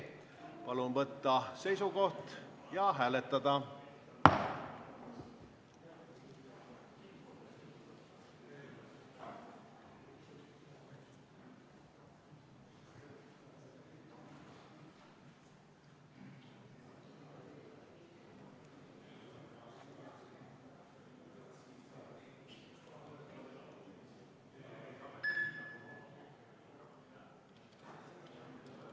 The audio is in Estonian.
Palun võtta seisukoht ja hääletada!